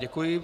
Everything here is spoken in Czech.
Děkuji.